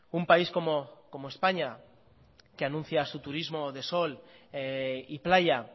un país como españa que anuncia su turismo de sol y playa